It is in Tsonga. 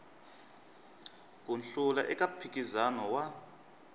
ku hlula eka mphikizano wa